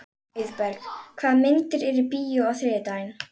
Auðberg, hvaða myndir eru í bíó á þriðjudaginn?